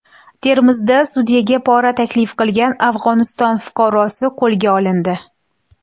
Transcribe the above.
Termizda sudyaga pora taklif qilgan Afg‘oniston fuqarosi qo‘lga olindi.